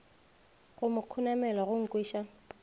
go mo khunamela go nkweša